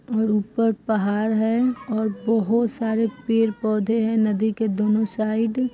और ऊपर पहाड़ है और बोहोत सारे पेड़ पौधे हैं नदी के दोनों साइड ।